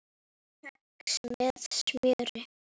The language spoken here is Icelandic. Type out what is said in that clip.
Kex með smjöri